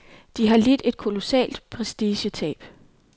De har lidt et kolossalt prestigetab.